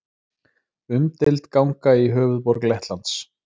Umdeild ganga í höfuðborg Lettlands